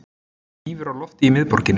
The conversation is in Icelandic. Hnífur á lofti í miðborginni